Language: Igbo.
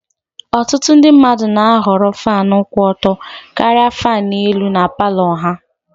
Ụfọdụ ndị mmadụ na-ahọrọ Fan kwụ ọtọ karịa fan elu na Palọ ha